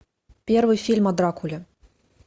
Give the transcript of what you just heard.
первый фильм о дракуле